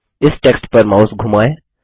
इस टेक्स्ट पर माउस धुमाएँ